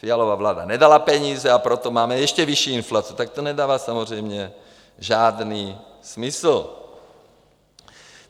Fialova vláda nedala peníze, a proto máme ještě vyšší inflaci, tak to nedává samozřejmě žádný smysl.